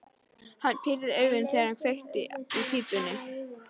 Hann pírði augun, þegar hann kveikti í pípunni.